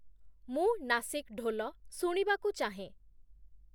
ମୁଁ ନାସିକ୍ ଢ଼ୋଲ ଶୁଣିବାକୁ ଚାହେଁ